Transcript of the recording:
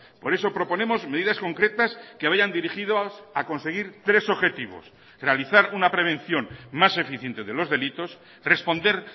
por eso proponemos medidas concretas que vayan dirigidos a conseguir tres objetivos realizar una prevención más eficiente de los delitos responder